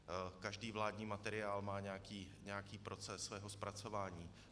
Každý vládní materiál má nějaký proces svého zpracování.